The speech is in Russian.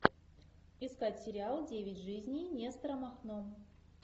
искать сериал девять жизней нестора махно